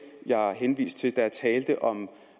jeg henviste til da jeg talte om